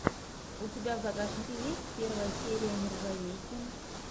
у тебя в загашнике есть первая серия нержавейки